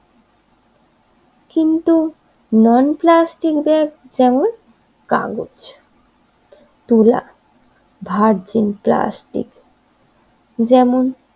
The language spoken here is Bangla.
কিন্তু নন প্লাস্টিক ব্যাগ যেমন কাগজ তুলা ভার্জিন প্লাস্টিক যেমন